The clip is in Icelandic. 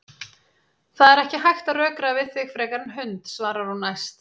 Það er ekki hægt að rökræða við þig frekar en hund, svarar hún æst.